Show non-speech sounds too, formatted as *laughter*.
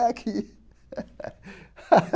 É aqui. *laughs*